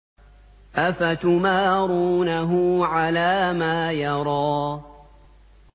أَفَتُمَارُونَهُ عَلَىٰ مَا يَرَىٰ